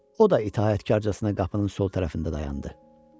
O da itaətkarcasına qapının sol tərəfində dayandı.